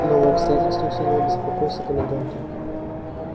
новое обстоятельство усилило беспокойство коменданта